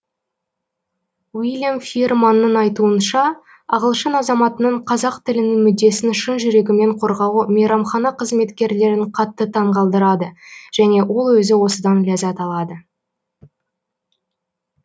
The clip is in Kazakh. уиллиам фиерманның айтуынша ағылшын азаматының қазақ тілінің мүддесін шын жүрегімен қорғауы мейрамхана қызметкерлерін қатты таңғалдырады және ол өзі осыдан ләззат алады